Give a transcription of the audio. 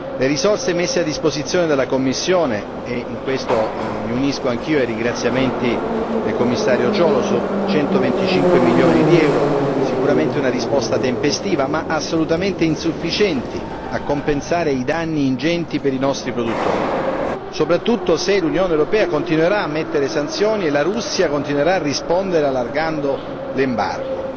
Le risorse messe a disposizione della Commissione e in questo mi unisco anch'io ai ringraziamenti del Commissario Cioloş centoventicinque milioni di euro, sono sicuramente una risposta tempestiva, ma assolutamente insufficiente a compensare i danni ingenti per i nostri produttori, soprattutto se l'Unione europea continuerà a emettere sanzioni e la Russia continuerà a rispondere allargando l'embargo.